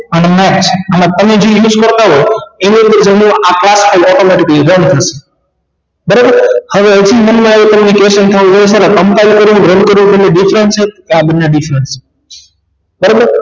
અને match અને use કરતાં હોય એવો જમણો જમણો automatically બંધ થાય છે બરાબર હવે મન માં એ question થવો જોઈએ કે combine કરવું run કરવું બને different છે હા બંને different છે બરાબર